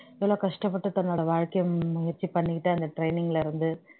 எவ்வளவு கஷ்டப்பட்டு தன்னோட வாழ்க்கையை முயற்சி பண்ணிக்கிட்டு அந்த training ல இருந்து